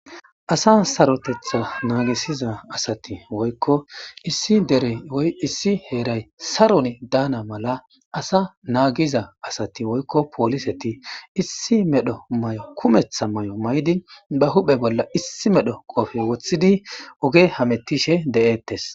Asa sarotetha naagisiza asati woykko issi dere woy issi heeray saron daana mala asa naagiza asati woykko pooliseti issi medho may'o kumetha may'o may'di ba huphe bolla issi medho qoofe woththidi oge hametishe de'eettes.